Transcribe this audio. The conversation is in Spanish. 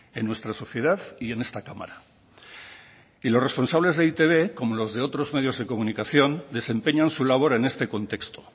en nuestra sociedad y en esta cámara y los responsables de e i te be como los de otros medios de comunicación desempeñan su labor en este contexto